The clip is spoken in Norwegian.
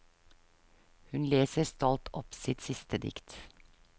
Hun leser stolt opp sitt siste dikt.